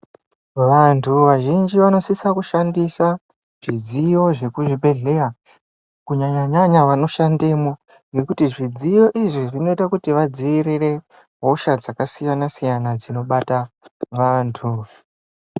Vantu vazhinji vanosisa kushandisa zvidziyo vekuzvibhehleya kunyanya-nyanya vanoshandemwo. Ngekuti zvidziyo izvi zvinoita kuti vadzivirire hosha dzakasiyana-siyana dzinobata vantu.